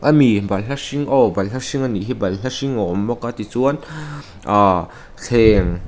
ami balhla hring aw balhla hring anih hi balhla hring a awm bawka tichuan ahh thleng--